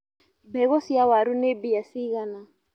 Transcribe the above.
Mbegũ cia waru nĩ mbia cigana.